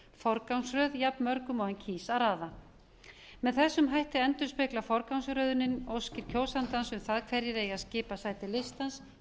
forgangsröð jafnmörgum og hann kýs að raða með þessum hætti endurspeglar forgangsröðunin óskir kjósandans um það hverjir eigi að skipa sæti listans og í hvaða röð lagt er